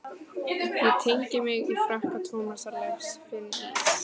Ég teygi mig í frakka Tómasar Leifs, finn ís